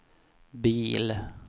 bil